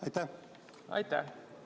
Aitäh!